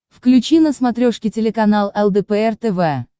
включи на смотрешке телеканал лдпр тв